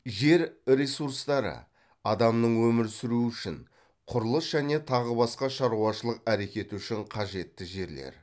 жер ресурстары адамның өмір сүруі үшін құрылыс және тағы басқа шаруашылық әрекеті үшін қажетті жерлер